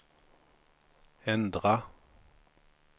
ändra